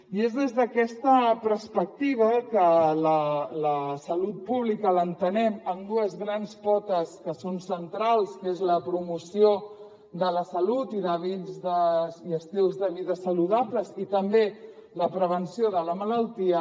i és des d’aquesta perspectiva que la salut pública l’entenem amb dues grans potes que són centrals que és la promoció de la salut i d’hàbits i estils de vida saludables i també la prevenció de la malaltia